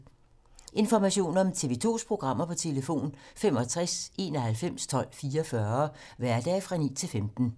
Information om TV 2's programmer: 65 91 12 44, hverdage 9-15.